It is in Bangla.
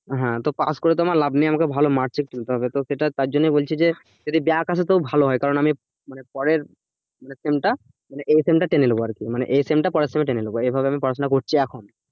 হ্যাঁ তো পাশ করে তো লাভ নেই আমাকে ভালো marks ও তুলতে হবে তো সেটা তার জন্যই বলছি যে যদি back আসে তবু ভালো হয় কারণ আমি পরের মানে sem টা মানে এই sem টা টেনে নেব আরকি মানে এই sem টা পরের সঙ্গে টেনে নেব এই ভাবে আমি পড়াশোনা করছি এখন,